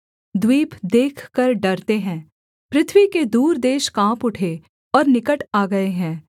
द्वीप देखकर डरते हैं पृथ्वी के दूर देश काँप उठे और निकट आ गए हैं